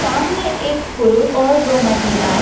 सामने एक पुरुष और दो महिलाएं--